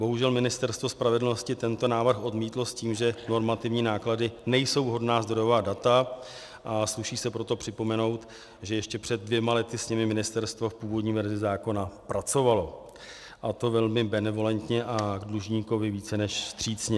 Bohužel Ministerstvo spravedlnosti tento návrh odmítlo s tím, že normativní náklady nejsou vhodná zdrojová data, a sluší se proto připomenout, že ještě před dvěma lety s nimi ministerstvo v původní verzi zákona pracovalo, a to velmi benevolentně a k dlužníkovi více než vstřícně.